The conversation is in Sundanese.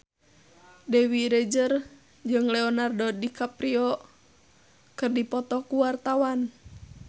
Dewi Rezer jeung Leonardo DiCaprio keur dipoto ku wartawan